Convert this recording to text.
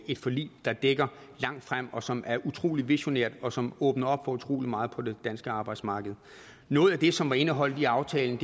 et forlig der dækker langt frem og som er utrolig visionært og som åbner op for utrolig meget på det danske arbejdsmarked noget af det som er indeholdt i aftalen